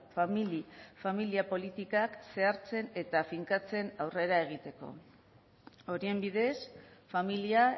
famili familia politikak zehartzen eta finkatzen aurrera egiteko horien bidez familia